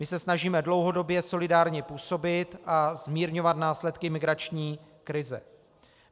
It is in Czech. My se snažíme dlouhodobě solidárně působit a zmírňovat následky migrační krize.